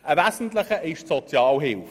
Ein wesentlicher davon ist die Sozialhilfe.